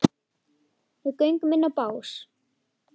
Við göngum inn á bás